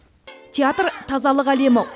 театр тазалық әлемі